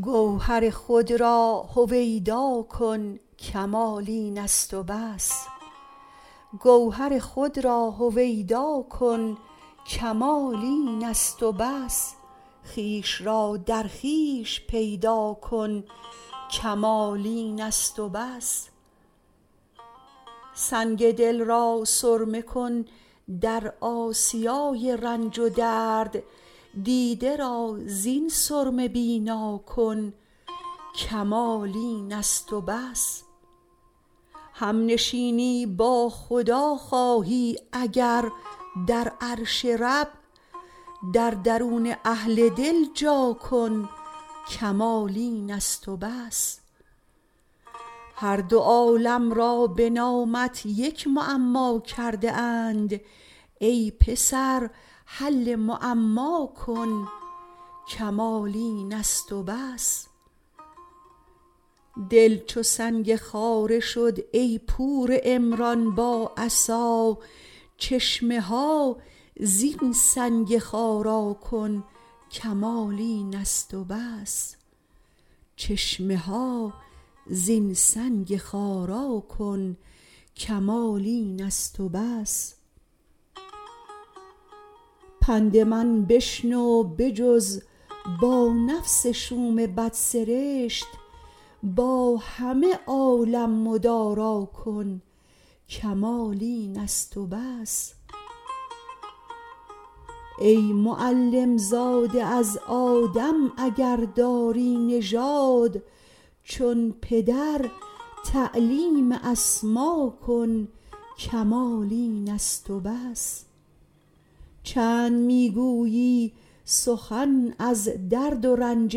گوهر خود را هویدا کن کمال این است و بس خویش را در خویش پیدا کن کمال این است و بس سنگ دل را سرمه کن در آسیای رنج و درد دیده را زین سرمه بینا کن کمال این است و بس هم نشینی با خدا خواهی اگر در عرش رب در درون اهل دل جا کن کمال این است و بس هر دو عالم را بنامت یک معما کرده اند ای پسر حل معما کن کمال این است و بس دل چو سنگ خاره شد ای پور عمران با عصا چشمه ها زین سنگ خارا کن کمال این است و بس پند من بشنو بجز با نفس شوم بد سرشت با همه عالم مدارا کن کمال این است و بس ای معلم زاده از آدم اگر داری نژاد چون پدر تعلیم اسما کن کمال این است و بس چند میگویی سخن از درد و رنج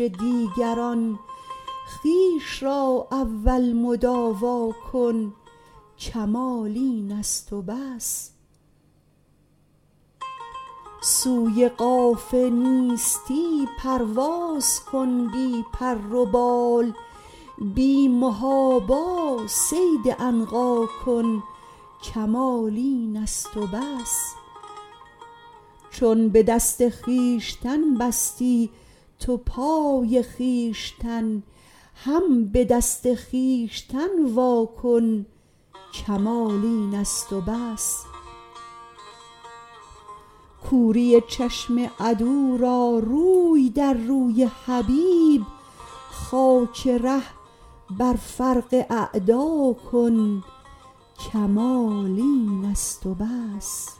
دیگران خویش را اول مداوا کن کمال این است و بس سوی قاف نیستی پرواز کن بی پر و بال بی محابا صید عنقا کن کمال این است و بس چون بدست خویشتن بستی تو پای خویشتن هم بدست خویشتن واکن کمال این است و بس کوری چشم عدو را روی در روی حبیب خاک ره بر فرق اعدا کن کمال این است و بس